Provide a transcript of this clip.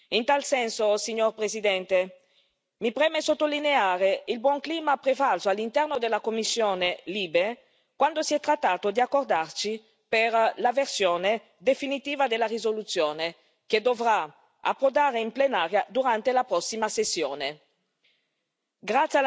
In tal senso, signor Presidente, mi preme sottolineare il buon clima prevalso all'interno della commissione LIBE quando si è trattato di accordarci per la versione definitiva della risoluzione che dovrà approdare in plenaria durante la prossima tornata.